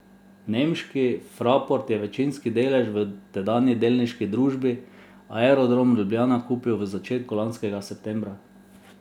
Nemški Fraport je večinski delež v tedanji delniški družbi Aerodrom Ljubljana kupil v začetku lanskega septembra.